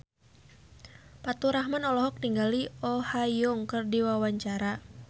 Faturrahman olohok ningali Oh Ha Young keur diwawancara